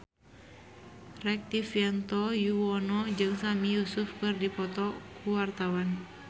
Rektivianto Yoewono jeung Sami Yusuf keur dipoto ku wartawan